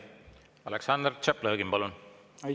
Aleksandr Tšaplõgin, palun!